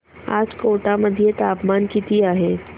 आज कोटा मध्ये तापमान किती आहे